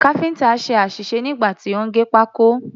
Káfíǹtà ṣe àṣìṣe nígbà tí ó ń gé pákó.